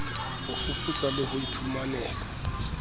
ho fuputsa le ho iphumanela